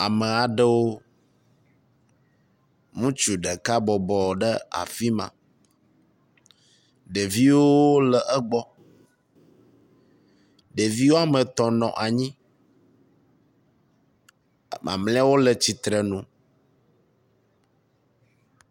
ame aɖewo ŋutsu ɖeka bɔbɔ ɖe afima ɖeviwo le egbɔ ɖevi wɔmetɔ̃ nɔ anyi mamliawo le tsitrenu